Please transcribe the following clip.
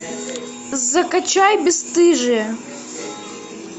закачай бесстыжые